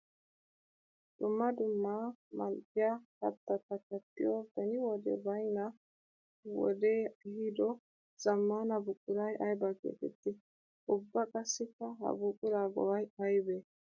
Dumma dumma mali'iya kattatta kattiyo beni wode baynna wode ehiido zamaana buquray aybba geetetti? Ubba qassikka ha buqura go'ay aybbe?